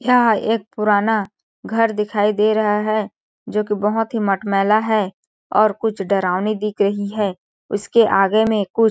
यह एक पुराना घर दिखाई दे रहा है जोकि बहुत ही मटमैला है और कुछ डरावनी दिख रही है उसके आगे में कुछ --